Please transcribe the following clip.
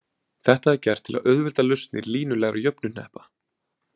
Þetta er gert til þess að auðvelda lausnir línulegra jöfnuhneppa.